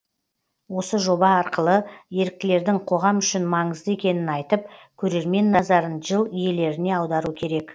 осы жоба арқылы еріктілердің қоғам үшін маңызды екенін айтып көрермен назарын жыл иелеріне аудару керек